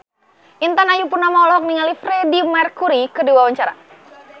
Intan Ayu Purnama olohok ningali Freedie Mercury keur diwawancara